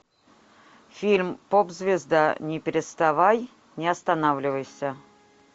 фильм поп звезда не переставай не останавливайся